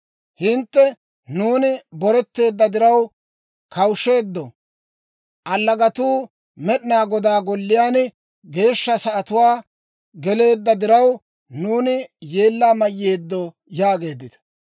Hintte, ‹Nuuni boreteedda diraw kawushsheeddo; allagatuu Med'inaa Godaa Golliyaan geeshsha sa'atuwaa geleedda diraw, nuuni yeellaa mayeedo› yaageeddita.